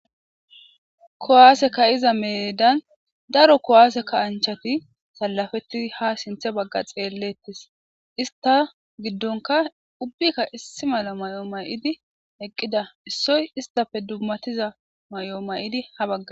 Kuwasse ka"iza medan kuwasse kasanchati salafetidi ha xelettes ista gidonkka issi mala Mayo mayada istappe isoy hara medhdho mayo mayida